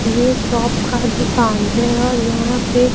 ये शॉप का दुकान है और यहां पे--